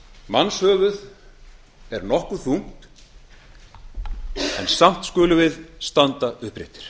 mannshöfuð er nokkuð þungt en samt skulum við standa uppréttir